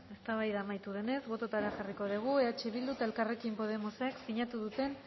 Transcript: eztabaida amaitu denez bototara jarriko dugu eh bildu eta elkarrekin podemosek sinatu duten